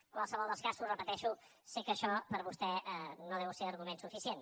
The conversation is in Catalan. en qualsevol dels casos ho repeteixo sé que això per a vostè no deu ser argument suficient